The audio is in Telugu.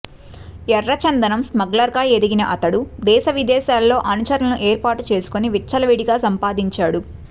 ఎర్రచందనం స్మగ్లర్గా ఎదిగిన అతడు దేశ విదేశాల్లో అనుచరులను ఏర్పాటు చేసుకొని విచ్చలవిడిగా సంపాదించాడు